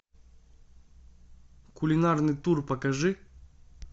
кулинарный тур покажи